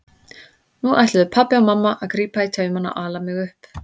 Nú ætluðu pabbi og mamma að grípa í taumana og ala mig upp.